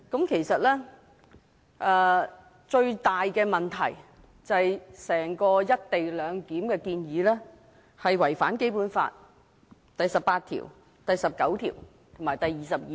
其實，最大問題是整項"一地兩檢"的建議違反《基本法》第十八條、第十九條及第二十二條。